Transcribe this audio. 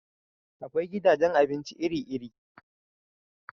Akwai gidajen abinci iri-iri.